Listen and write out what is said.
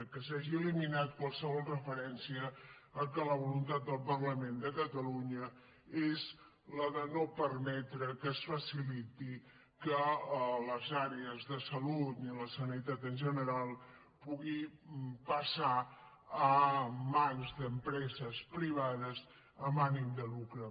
que s’hagi eliminat qualsevol referència al fet que la voluntat del parlament de catalunya és la de no permetre que es faciliti que les àrees de salut ni la sanitat en general puguin passar a mans d’empreses privades amb ànim de lucre